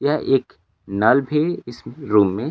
यह एक नल भी इस रूम में--